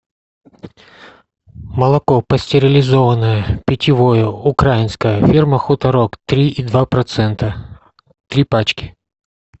молоко пастеризованное питьевое украинское фирма хуторок три и два процента три пачки